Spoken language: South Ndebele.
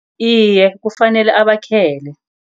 Iye, kufanele abakhele.